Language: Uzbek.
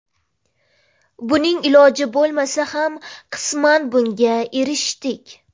Buning iloji bo‘lmasa ham qisman bunga erishdik.